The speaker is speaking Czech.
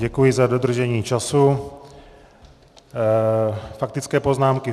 Děkuji za dodržení času faktické poznámky.